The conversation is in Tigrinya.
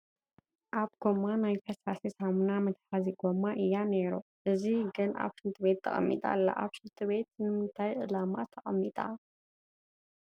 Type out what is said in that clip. እዛ ጐማ ናይ ፈሳሲ ሳሙና መትሓዚ ጐማ እያ ነይሩ፡፡ እዚ ግን ኣብ ሽንቲ ቤት ተቐሚጣ ኣላ፡፡ ኣብ ሽንት ቤት ንምንታየ ዕላማ ተቐሚጣ?